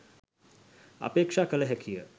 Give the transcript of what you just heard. අපේක්‍ෂා කළ හැකි ය.